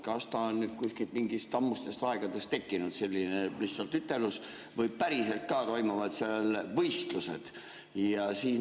Kas see on mingist ammustest aegadest tekkinud lihtsalt selline ütelus või päriselt ka toimuvad võistlused?